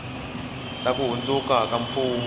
ta ku hundzuka ka mfumo